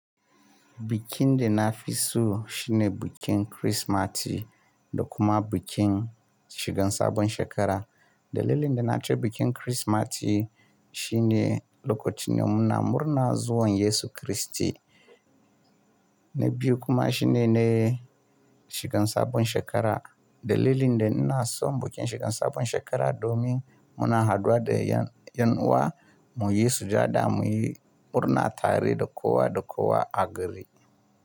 Bikin de na fi so shine bikin Kirsimati da kuma bikin shigan sabon shekara. Dalilin da na ce bikin Kirsimati shine lokacin de muna murna zuwan Yesu Kristi, na biyu kuma shine ne shigan sabon shekara. Dalilin da na son bikin shigan sabon shekara domin muna haduwa da yan wa mu, yi sujada mu yi murna tare da kowa da kowa a gari.